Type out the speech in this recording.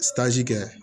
kɛ